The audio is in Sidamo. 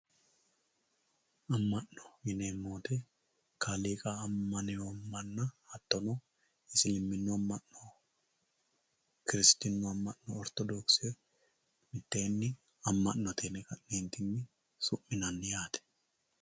amma'no yineemmo woyiite kaaliiqa ammanewoo manna hattono isiliminnu amma'no kiristinnu Amma'no ortodokise mitteenni amma'note yine ka'neentinni su'minanni yaate